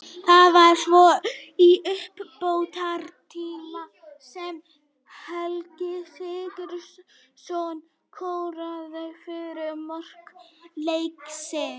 Það var svo í uppbótartíma sem Helgi Sigurðsson skoraði fyrsta mark leiksins.